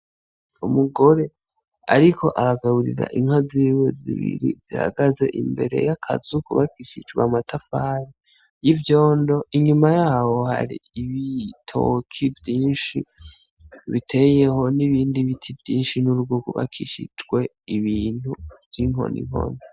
Umugore ariko aragaburira inka ziwe zi biri zihagaze imbere y'akazu kubakishije amatafari y'ivyondo inyuma yaho hari ibitoki vyishi biteyeho n'ibindi biti vyishi hubakishijwe ibintu vy'inkoni nkoni.